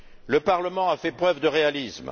Le Parlement a fait preuve de réalisme.